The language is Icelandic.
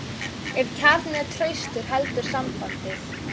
Ef kjarninn er traustur heldur sambandið.